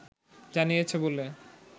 জানিয়েছে বলে